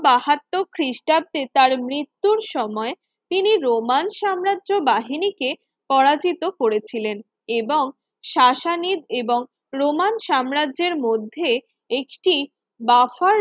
বাহাত্তর খ্রিষ্টাব্দে তার মৃত্যুর সময় তিনি রোমান সাম্রাজ্য বাহিনীকে পরাজিত করেছিলেন এবং শাসনিব এবং রোমান সাম্রাজ্যের মধ্যে একটি বাফার